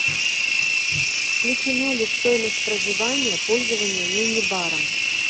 включено ли в стоимость проживания пользование мини баром